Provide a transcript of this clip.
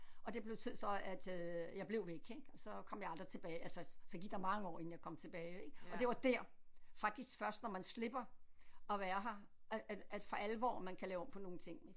Og det betød så at øh jeg blev væk ik så kom jeg aldrig tilbage altså så gik der mange år inden jeg kom tilbage og det var der faktisk først når man slipper at være her at at for alvor man kan lave om på nogle ting